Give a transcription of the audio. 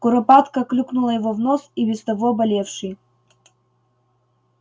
куропатка клюкнула его в нос и без того болевший